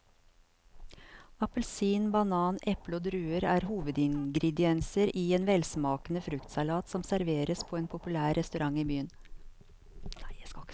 Appelsin, banan, eple og druer er hovedingredienser i en velsmakende fruktsalat som serveres på en populær restaurant i byen.